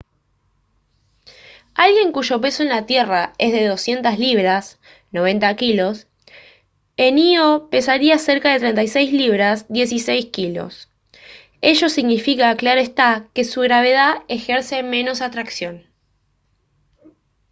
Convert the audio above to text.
alguien cuyo peso en la tierra es de 200 libras 90 kg en ío pesaría cerca de 36 libras 16 kg. ello significa claro está que su gravedad ejerce menos atracción